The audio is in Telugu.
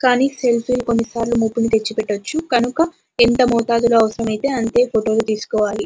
కానీ సెల్ఫీ లు కొన్నిసార్లు ముప్పలు తెచ్చి పెట్టవచ్చు కనుక ఎంత మోతాదులో అవసరమైతే అంతే ఫోటో లు తీసుకోవాలి.